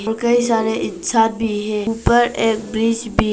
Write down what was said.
और कई सारे इंसान भी है ऊपर एक ब्रिज भी--